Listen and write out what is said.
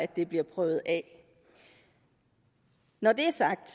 det bliver prøvet af når det er sagt